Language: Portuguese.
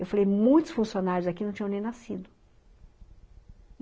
Eu falei, ''muitos funcionários aqui não tinham nem nascido.''